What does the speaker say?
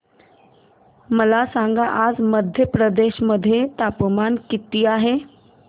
मला सांगा आज मध्य प्रदेश मध्ये तापमान किती आहे